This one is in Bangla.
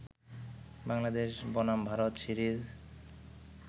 বাংলাদেশ বনাম ভারত সিরিজ